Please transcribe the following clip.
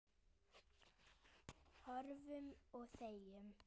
Horfum og þegjum.